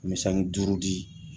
N bi sange duuru di